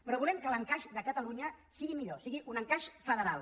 però volem que l’encaix de catalunya sigui millor sigui un encaix federal